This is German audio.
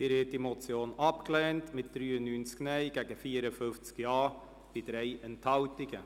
Sie haben diese Motion abgelehnt mit 93 Nein- gegen 54 Ja Stimmen bei 3 Enthaltungen.